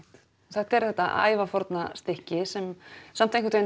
þetta er þetta ævaforna stykki sem samt